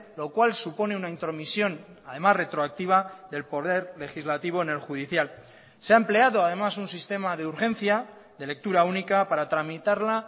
lo cual supone una intromisión además retroactiva del poder legislativo en el judicial se ha empleado además un sistema de urgencia de lectura única para tramitarla